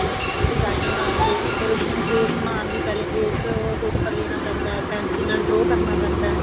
design ਬਣਾਉਗੇ ਫੇਰ ਉਸਨੂੰ trace ਮਾਰਨ ਲੀ ਪਹਿਲੇ trace paper ਲੇਣਾ ਪੈਂਦਾ pencils ਨਾਲ draw ਕਰਨਾ ਪੈਂਦਾ